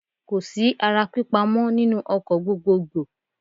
Kò sí ara pípa mọ́ nínú ọkọ̀ gbogboògbò.